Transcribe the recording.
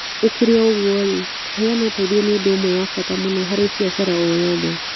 Gũkĩrĩ ũguo-rĩ, kũheana ũteithio nĩ ũndũ ũmwe wa bata mũno harĩ biacara o yothe.